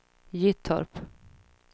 Gyttorp